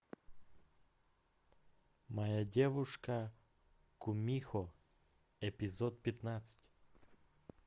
моя девушка кумихо эпизод пятнадцать